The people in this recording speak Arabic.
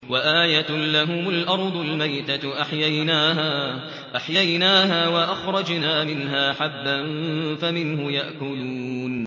وَآيَةٌ لَّهُمُ الْأَرْضُ الْمَيْتَةُ أَحْيَيْنَاهَا وَأَخْرَجْنَا مِنْهَا حَبًّا فَمِنْهُ يَأْكُلُونَ